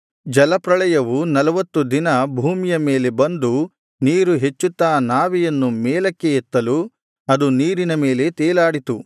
ಜಲಪ್ರಳಯವು ನಲ್ವತ್ತು ದಿನ ಭೂಮಿಯ ಮೇಲೆ ಬಂದು ನೀರು ಹೆಚ್ಚುತ್ತಾ ನಾವೆಯನ್ನು ಮೇಲಕ್ಕೆ ಎತ್ತಲು ಅದು ನೀರಿನ ಮೇಲೆ ತೇಲಾಡಿತು